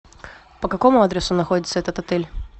по какому адресу находится этот отель